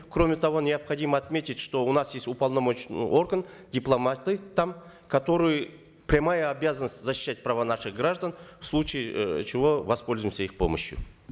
кроме того необходимо отметить что у нас есть уполномоченный орган дипломаты там которые прямая обязанность защищать права наших граждан в случае э чего воспользуемся их помощью